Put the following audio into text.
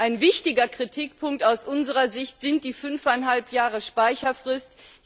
Ein wichtiger Kritikpunkt aus unserer Sicht sind die fünfeinhalb Jahre Speicherfrist.